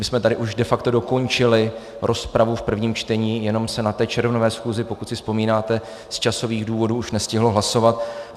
My jsme tady už de facto dokončili rozpravu v prvním čtení, jenom se na té červnové schůzi, pokud si vzpomínáte, z časových důvodů už nestihlo hlasovat.